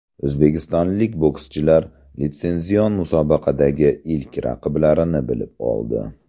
O‘zbekistonlik bokschilar litsenzion musobaqadagi ilk raqiblarini bilib oldi.